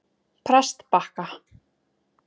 Prestbakka